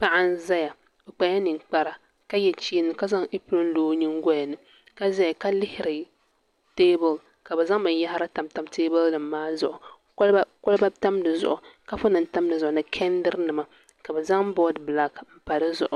Paɣa n ʒɛya o kpala ninkpari ka zaŋ ɛpiron lo o nyingoli ni ka ʒɛya ka lihiri teebuli ka bi zaŋ binyɛra tam tam teebuli nim maa zuɣu koliba tam di zuɣu kaapu nim tam di zuɣu ni kɛndili nima ka bi zaŋ boodi bilak n pa di zuɣu